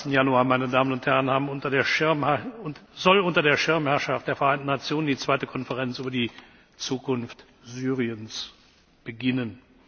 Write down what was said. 22. Januar 2014 soll unter der Schirmherrschaft der Vereinten Nationen die zweite Konferenz über die Zukunft Syriens beginnen.